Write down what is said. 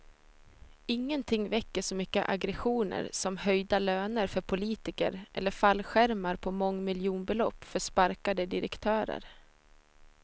Ingenting väcker så mycket aggressioner som höjda löner för politiker eller fallskärmar på mångmiljonbelopp för sparkade direktörer.